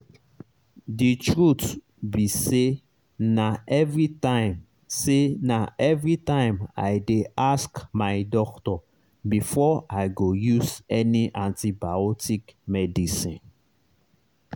the truth be sayna everytime sayna everytime i dey ask my doctor before i go use any antibiotic medicine.